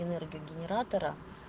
энергию генератора